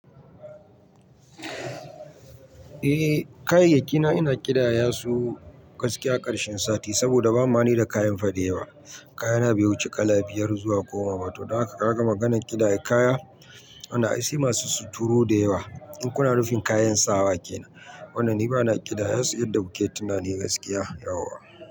Eh kayayyaki na ina ƙidaya su gaskiya karshen sati saboda ba mani da kayan fade yawa. Kaya na bai wu ci kalabiyar zuwa goma ba, to kaka ka ga maganan ƙidaya kaya wannan ai sai masu suturu da yawa. In kuna nufin kayan sawa kenan, wanda ni bana ƙidaya su yanda kuke tunani gaskiya yauwa.